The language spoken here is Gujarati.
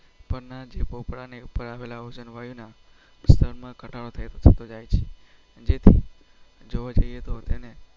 પણ આજે ભોપરા ની ઉપર આવેલા હોય ને? જોવા જઈએ તો તે.